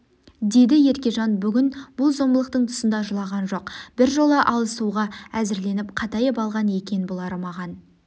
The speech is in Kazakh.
деді еркежан бүгін бұл зорлықтың тұсында жылаған жоқ біржола алысуға әзірленіп қатайып алған екен бұлары маған